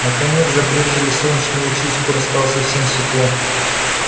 наконец забрезжили солнечные лучи и скоро стало совсем светло